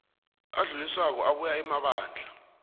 adluliswako abuya emabandla